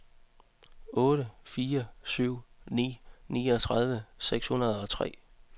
otte fire syv ni niogtredive seks hundrede og tre